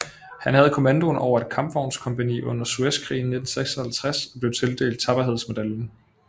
Han havde kommandoen over et kampvognskompagni under Suezkrigen i 1956 og blev tildelt tapperhedsmedaljen